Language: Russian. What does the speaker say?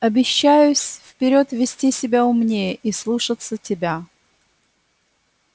обещаюсь вперёд вести себя умнее и слушаться тебя